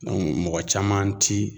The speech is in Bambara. mɔgɔ caman ti